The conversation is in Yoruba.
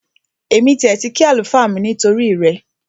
Èmi tiẹ̀ ti kí àlùfáà mi nítorí rẹ